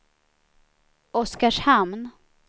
Oskarshamn